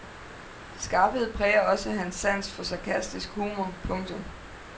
Skarphed præger også hans sans for sarkastisk humor. punktum